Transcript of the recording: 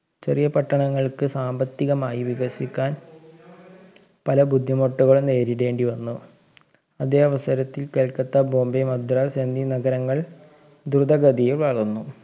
ചെറിയ പട്ടണങ്ങൾക്ക് സാമ്പത്തികമായി വികസിക്കാൻ പല ബുദ്ധിമുട്ടുകളും നേരിടേണ്ടി വന്നു അതേ അവസരത്തിൽ കൽക്കത്ത ബോംബെ മദ്രാസ് എന്നീ നഗരങ്ങൾ ദ്രുതഗതിയിൽ വളർന്നു